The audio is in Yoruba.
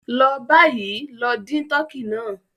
Lọ bayì, lọ dìn tọkí náà!